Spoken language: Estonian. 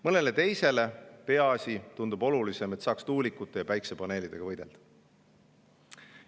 Mõnele teisele tundub olulisem, peaasi see, et saaks tuulikute ja päikesepaneelidega võidelda.